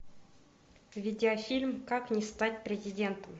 видеофильм как не стать президентом